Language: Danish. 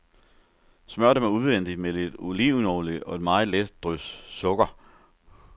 Smør dem udvendigt med lidt olivenolie og et meget let drys sukker.